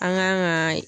An k'an ka